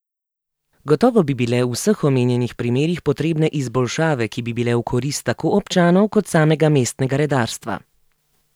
Gotovo bi bile v vseh omenjenih primerih potrebne izboljšave, ki bi bile v korist tako občanov kot samega mestnega redarstva.